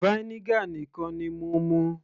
vinegar nìkan ni mo mú